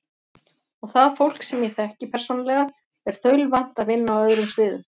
Og það fólk, sem ég þekki persónulega, er þaulvant að vinna á öðrum sviðum.